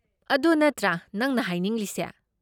ꯑꯗꯨ ꯅꯠꯇ꯭ꯔꯥ ꯅꯪꯅ ꯍꯥꯏꯅꯤꯡꯂꯤꯁꯦ꯫